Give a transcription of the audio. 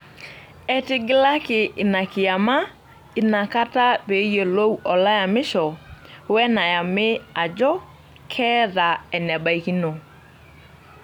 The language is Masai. Etigilaki ina kiyama inakata pee eyiolou olayamisho wenayami ajo keeta enebaikino.